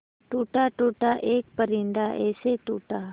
टूटा टूटा एक परिंदा ऐसे टूटा